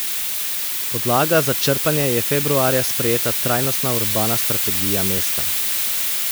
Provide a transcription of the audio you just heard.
Podlaga za črpanje je februarja sprejeta trajnostna urbana strategija mesta.